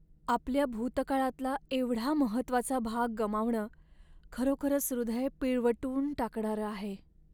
आपल्या भूतकाळातला एवढा महत्त्वाचा भाग गमावणं खरोखरच हृदय पिळवटून टाकणारं आहे.